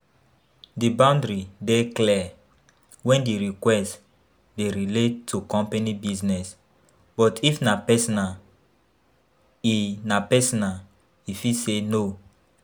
di boundary dey clear when di request dey relate to company business, but if na personal, e na personal, e fit say no.